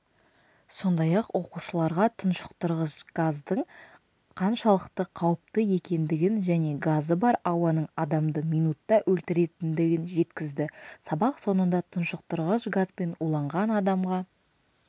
сондай-ақ оқушыларға тұншықтырғыш газдың қаншалықты қауіпті екендігін және газы бар ауаның адамды минутта өлтіретіндігін жеткізді сабақ соңында тұншықтырғыш газбен уланған адамға